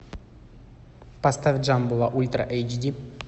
поставь джамбула ультра эйч ди